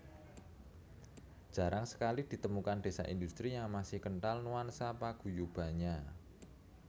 Jarang sekali ditemukan desa industri yang masih kental nuansa paguyubannya